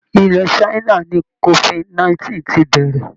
Ilẹ̀ China ni COVID 19 ti bẹ̀rẹ̀